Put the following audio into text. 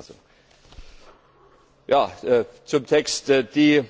Das ist meine Auffassung Die